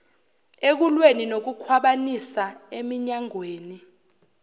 ekulweni nokukhwabanisa eminyangweni